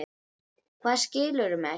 Hvað, skilurðu mig ekki?